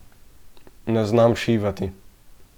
Ne znam šivati.